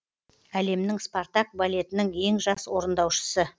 әлемнің спартак балетінің ең жас орындаушысы